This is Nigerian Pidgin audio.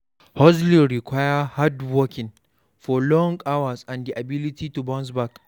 Hustling require hard work, working for long hours and di ability to bounce back